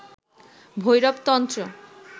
ভৈরব তন্ত্র